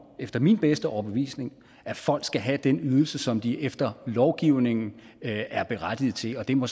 efter min bedste overbevisning at folk skal have den ydelse som de efter lovgivningen er berettiget til det må